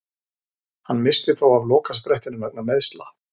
Hann missti þó af lokasprettinum vegna meiðsla.